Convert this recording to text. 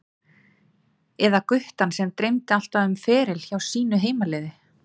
Eða guttann sem dreymdi alltaf um feril hjá sínu heimaliði?